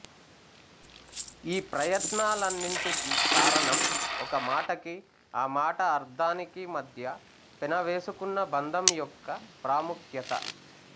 ఈ ప్రయత్నాలన్నిటికీ కారణం ఒక మాటకి ఆ మాట అర్థానికి మధ్య పెనవేసుకున్న బంధం యొక్క ప్రాముఖ్యత